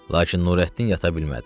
Lakin Nurəddin yata bilmədi.